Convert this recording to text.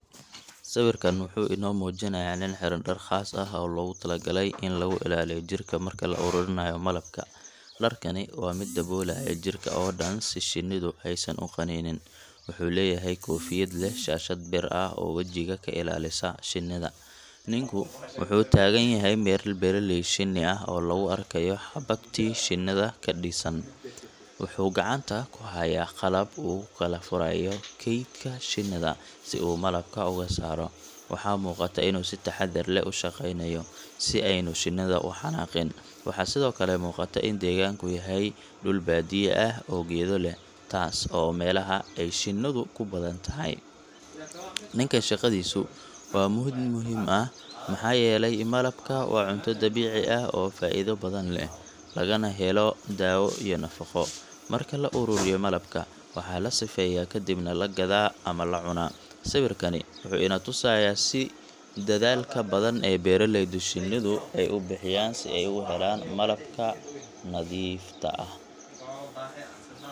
Sawirkan wuxuu inoo muujinayaa nin xiran dhar khaas ah oo loogu talagalay in lagu ilaaliyo jirka marka la ururinayo malabka. Dharkani waa mid daboolaya jirka oo dhan si shinnidu aysan u qaninin. Wuxuu leeyahay koofiyad leh shaashad bir ah oo wajiga ka ilaalisa shinnida. Ninku wuxuu taagan yahay meel beeraley shinni ah oo lagu arkayo xabagtii shinnida ka dhisan. Wuxuu gacanta ku hayaa qalab uu ku kala furayo kaydka shinnida si uu malabka uga saaro. Waxaa muuqata inuu si taxaddar leh u shaqaynayo, si aynu shinnidu u xanaaqin. Waxaa sidoo kale muuqata in deegaanku yahay dhul baadiye ah oo geedo leh, taas oo ah meelaha ay shinnidu ku badan tahay. Ninkan shaqadiisu waa mid muhiim ah maxaa yeelay malabka waa cunto dabiici ah oo faa’iido badan leh, lagana helo dawo iyo nafaqo. Marka la ururiyo malabka, waxaa la sifeeyaa kadibna la gadaa ama la cuna. Sawirkani wuxuu ina tusayaa si dadaalka badan ee beeraleyda shinnidu ay u bixiyaan si ay u helaan malabka nadiifta ah.